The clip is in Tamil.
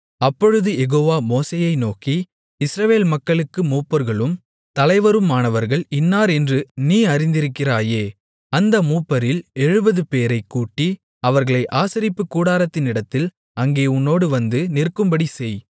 அப்பொழுது யெகோவா மோசேயை நோக்கி இஸ்ரவேல் மக்களுக்கு மூப்பர்களும் தலைவருமானவர்கள் இன்னார் என்று நீ அறிந்திருக்கிறாயே அந்த மூப்பரில் எழுபதுபேரைக் கூட்டி அவர்களை ஆசரிப்புக்கூடாரத்தினிடத்தில் அங்கே உன்னோடு வந்து நிற்கும்படிசெய்